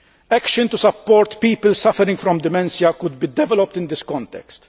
Action to support people suffering from dementia could be developed in this context.